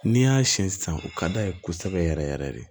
N'i y'a siyɛn sisan u ka d'a ye kosɛbɛ yɛrɛ yɛrɛ yɛrɛ de